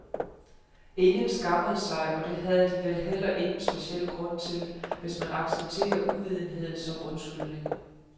Ingen skammede sig, og det havde de vel heller ingen speciel grund til, hvis man accepterer uvidenhed som undskyldning.